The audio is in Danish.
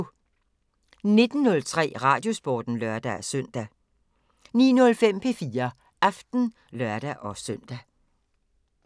19:03: Radiosporten (lør-søn) 19:05: P4 Aften (lør-søn)